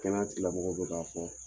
Kɛnɛya tilamɔgɔw bɛ k'a fɔ